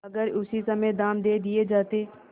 अगर उसी समय दाम दे दिये जाते